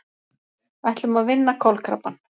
Ætlum að vinna kolkrabbann